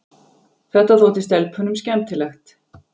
Þetta þótti stelpunum skemmtilegt.